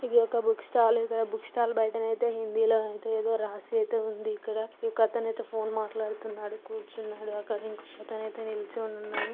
ఇది ఒక book stall . ఇక్కడ బుక్ స్టాల్ బయటను ఐతే హిందీ లో ఐతే ఏదో రాసి ఐతే ఉంది ఇక్కడ. ఒక అతను ఐతే ఫోన్ మాట్లాడ్తున్నాడు. కూర్చునాడు అక్కడ. ఇంకో అతను ఐతే నీలోచినుని ఉన్నాడు .